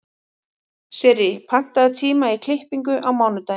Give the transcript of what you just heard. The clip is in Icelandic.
Sirrý, pantaðu tíma í klippingu á mánudaginn.